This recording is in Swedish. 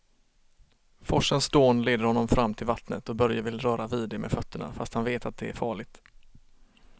Forsens dån leder honom fram till vattnet och Börje vill röra vid det med fötterna, fast han vet att det är farligt.